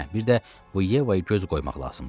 Hə, bir də bu Yevaya göz qoymaq lazımdır.